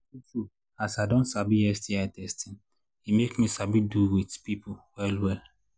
true true as i don sabi sti testing e make me sabi do with people well well